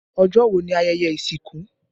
Ọjọ́ wo ni ayẹyẹ ìsìnkú?